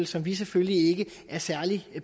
som vi selvfølgelig ikke er særlig